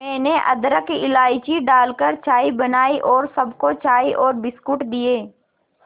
मैंने अदरक इलायची डालकर चाय बनाई और सबको चाय और बिस्कुट दिए